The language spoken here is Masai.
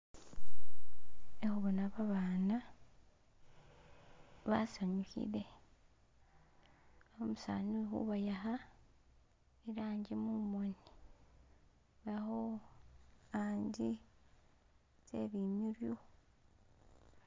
Khekhubona babana basanyukhile umusani ukhubayakha irangi mumoni akho handi tsebi nurwu